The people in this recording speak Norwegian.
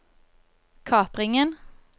kapringen